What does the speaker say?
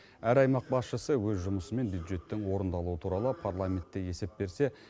әр аймақ басшысы өз жұмысы мен бюджеттің орындалуы туралы парламентте есеп берсе